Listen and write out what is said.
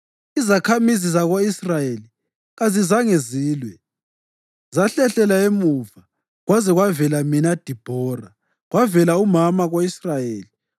Izakhamizi zako-Israyeli kazizange zilwe, zahlehlela emuva kwaze kwavela mina Dibhora, kwavela umama ko-Israyeli.